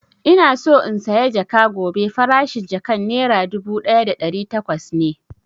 Ina so in saya jaka gobe, farashin jakan nera dubu ɗaya da ɗari takwas ne